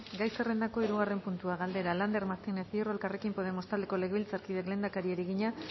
gai zerrendako hirugarren puntua galdera lander martínez hierro elkarrekin podemos taldeko legebiltzarkideak lehendakariari egina